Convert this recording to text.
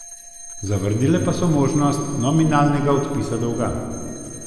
Zavrnile pa so možnost nominalnega odpisa dolga.